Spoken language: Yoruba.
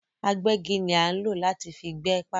Agbẹ́gi ni a nlo láti fi gbé pákó